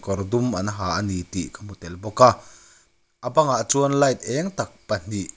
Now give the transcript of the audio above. kawr dum an ha a ni tih ka hmu tel bawk a a bangah chuan light eng tak pahnih--